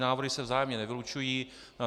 Návrhy se vzájemně nevylučují.